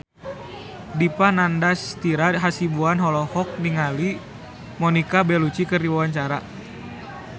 Dipa Nandastyra Hasibuan olohok ningali Monica Belluci keur diwawancara